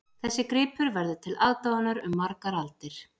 Þessi gripur verður til aðdáunar um margar aldir